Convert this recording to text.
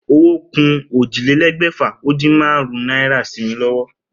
Owó ku ójìlélégbèfà-o-din-márún-ún náírà sí mi lówó